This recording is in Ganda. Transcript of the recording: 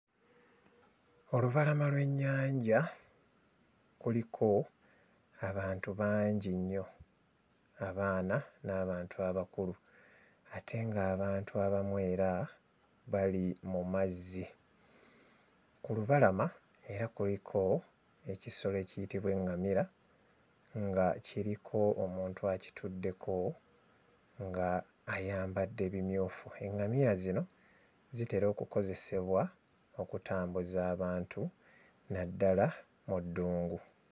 Olubalama lw'ennyanja kuliko abantu bangi nnyo, abaana n'abantu abakulu ate ng'abantu abamu era bali mu mazzi. Ku lubalama era kuliko ekisolo ekiyitibwa eŋŋamira nga kiriko omuntu akituddeko nga ayambadde bimyufu. Eŋŋamiya zino zitera okukozesebwa okutambuza abantu naddala mu ddungu.